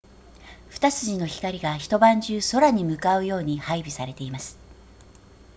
二筋の光が一晩中空に向かうように配備されています